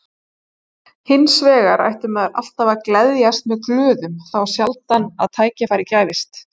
Hins vegar ætti maður alltaf að gleðjast með glöðum, þá sjaldan að tækifæri gæfist.